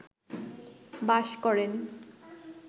বাস করেন